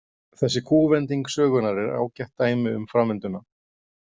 Þessi kúvending sögunnar er ágætt dæmi um framvinduna.